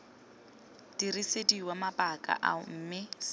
dirisediwa mabaka ao mme c